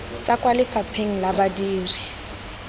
tswa kwa lefapheng la badiri